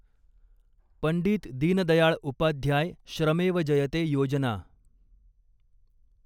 Pandit Deendayal Upadhyay Shramev Jayate Yojana